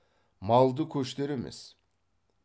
малды көштер емес